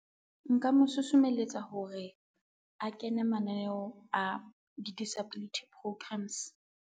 Nka mo susumelletsa hore a kene mananeo a di-disability programs.